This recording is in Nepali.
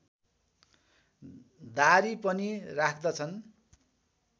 दाह्री पनि राख्दछन्